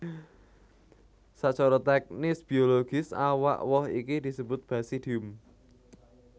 Sacara tèknis biologis awak woh iki disebut basidium